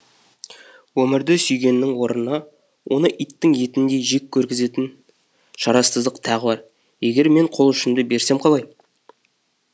өмірді сүйгеннің орнына оны иттің етіндей жек көргізетін шарасыздық тағы бар егер мен қол ұшымды берсем қалай